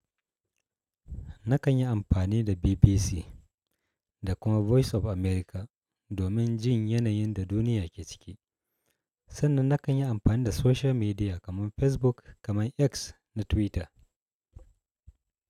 Nakan yi amfani da BBC da kuma Voice of America domin jin yanayin da duniya ke ciki, sannan nakan yi amfani da social media kamar Facebook kamar X na Twitter.